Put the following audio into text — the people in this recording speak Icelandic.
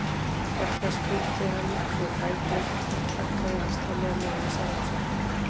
Hér spyrnti hann við fæti, þaggaði hastarlega niður í sjálfum sér.